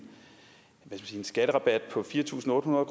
sige skatterabat på fire tusind otte hundrede